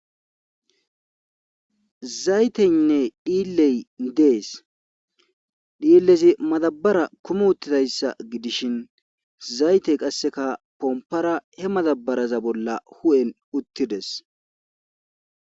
zayteynne dhiilley dees dhiillezi madabara kumu uttidayssa gidishin zaytey qasseka pompara he madabaraza bolla hu7en uttides